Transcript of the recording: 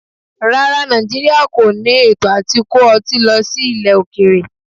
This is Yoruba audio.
Rárá, Nàìjíríà kọ ní ètò à ti kó ọtí lọ sí ilẹ̀ okèèrè.